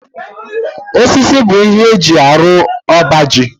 Osisi bụ ihe eji arụ ọba ji